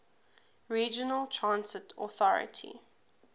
regional transit authority